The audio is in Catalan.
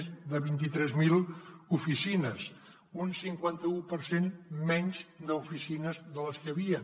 més de vint tres mil oficines un cinquanta u per cent menys d’oficines de les que hi havien